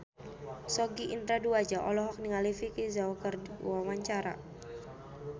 Sogi Indra Duaja olohok ningali Vicki Zao keur diwawancara